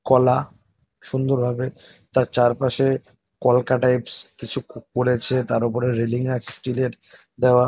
কলা সুন্দরভাবে তার চারপাশে কলকা টাইপস কিছু ক করেছে । তার উপরে রেলিং আছে স্টিল -এর দেওয়া।